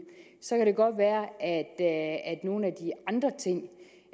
så kan det godt være at nogle